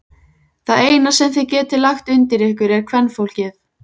Það eina sem þið getið lagt undir ykkur er kvenfólkið!